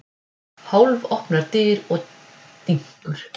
Hálfopnar dyr og dynkur.